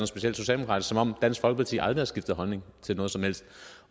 specielt socialdemokratisk som om dansk folkeparti aldrig har skiftet holdning til noget som helst